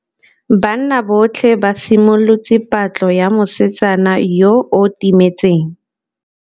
Banna botlhê ba simolotse patlô ya mosetsana yo o timetseng.